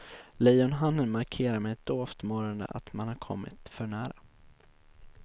Lejonhannen markerar med ett dovt morrande att man har kommit för nära.